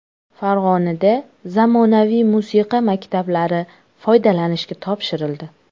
Farg‘onada zamonaviy musiqa maktablari foydalanishga topshirildi.